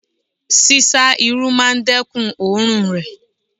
Sísá Irú máa dẹ́kun oòrùn rè.